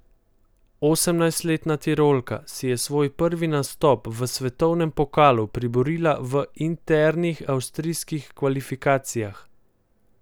Osemnajstletna Tirolka si je svoj prvi nastop v svetovnem pokalu priborila v internih avstrijskih kvalifikacijah.